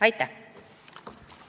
Aitäh!